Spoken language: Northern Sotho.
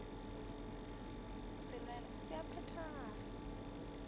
se lwela se a phethagala